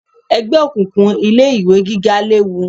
Ẹgbẹ́ òkùnkùn ilé ìwé gíga léwu